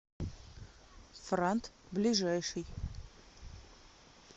франт ближайший